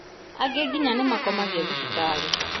Angĩ nginya nĩmakomagio thibitarĩ.